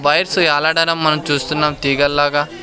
Wires యాలాడడం మనం చూస్తున్నాం తీగల్లాగా.